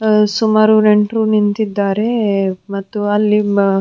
ಸುಮಾರು ನೆಂಟರು ನಿಂತಿದ್ದಾರೆ ಮತ್ತು ಅಲ್ಲಿ ಬರು --